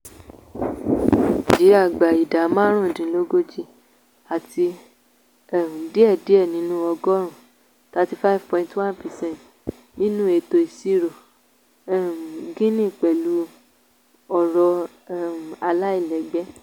orílẹ̀-èdè nàìjíríà gba idá márùndílógójì àti um díẹ̀ díẹ̀ nínú ọgọ́rùn-ún ( thirty five point one percent) nínú ètò ìṣirò um gini pẹ̀lú ọrọ̀ um aláìlẹ́gbẹ́